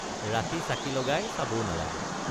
ৰাতি চাকি লগাই চাবও নালাগে।